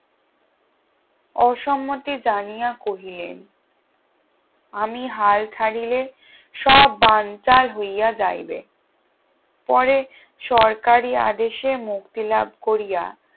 অসন্মতি জানিয়া কহিলে আমি হাল ছাড়িলে সব বানচাল হইয়া যাইবে পরে সরকারি আদেশে মুক্তিলাভ করিয়া